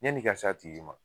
Yann'i ka s'a tigi ma